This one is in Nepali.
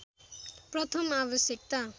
प्रथम आवश्यकता